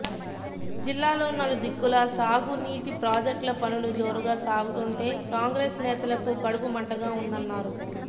జిల్లాలో నలు దిక్కులా సాగునీటి ప్రాజెక్టుల పనులు జోరుగా సాగుతుంటే కాంగ్రెస్ నేతలకు కడుపు మంటగా ఉందన్నారు